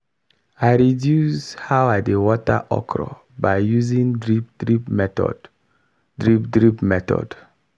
i reduce how i dey water okra by using drip drip method. drip drip method.